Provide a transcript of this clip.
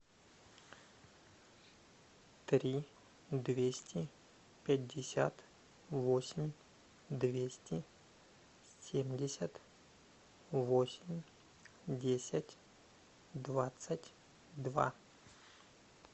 три двести пятьдесят восемь двести семьдесят восемь десять двадцать два